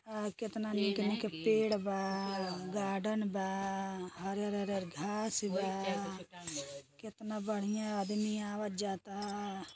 ह कितना निक निक पेड़ बागार्डन बा हरिहर हरिहर घांस बा कितना बढ़िया आदमी आवत जाता।